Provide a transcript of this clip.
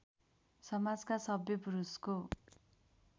समाजका सभ्य पुरुषको